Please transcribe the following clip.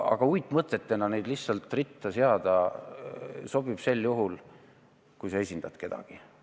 Aga uitmõtetena neid lihtsalt ritta seada sobib küll, kui sa esindad kedagi.